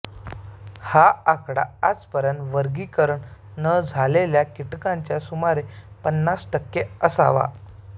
हा आकडा आजपर्यंत वर्गीकरण न झालेल्या कीटकांच्या सुमारे पन्नास टक्के असावा